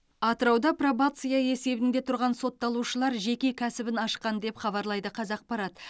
атырауда пробация есебінде тұрған сотталушылар жеке кәсібін ашқан деп хабарлайды қазақпарат